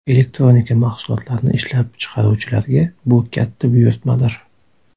Elektronika mahsulotlarini ishlab chiqaruvchilarga bu katta buyurtmadir.